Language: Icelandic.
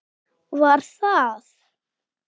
Var það